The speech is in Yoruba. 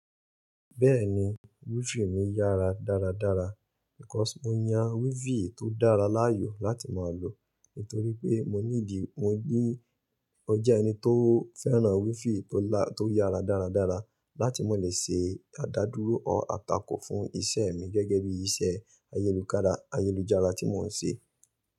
Bẹ́ẹ̀ni, wifi mi yára dáradára. Because mo yàn wifi tó dára láàyò láti máa lò nítorí pé mọ ní di mọ ní ó jẹ́ ẹni tó fẹ́ràn wifi tó lá to yára dáradára láti má lè ṣe àdádúró ọ̀tàkò fún ìṣe mi gẹ́gẹ́ bí iṣẹ́ ayélukára ayélujára tí mò ń ṣe.